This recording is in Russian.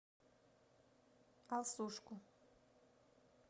алсушку